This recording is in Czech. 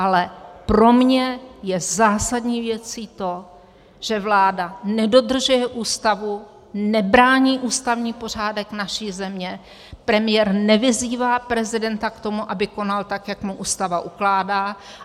Ale pro mě je zásadní věcí to, že vláda nedodržuje Ústavu, nebrání ústavní pořádek naší země, premiér nevyzývá prezidenta k tomu, aby konal tak, jak mu Ústava ukládá.